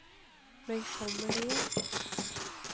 møysommelige